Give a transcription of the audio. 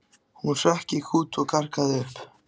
Hún hrökk í kút og gargaði upp.